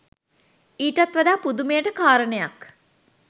ඊටත් වඩා පුදුමයට කාරණයක්